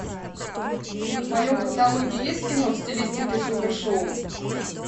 в твоем каталоге есть кино в стилистике супер шоу